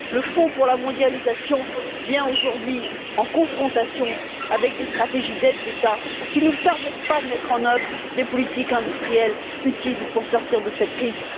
Le Fonds pour la mondialisation vient aujourd'hui en confrontation avec des stratégies d'aides d'État qui ne nous permettent pas de mettre en œuvre des politiques industrielles utiles pour sortir de cette crise.